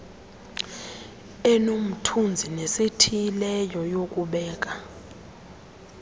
enomthunzi nesithileyo yokubeka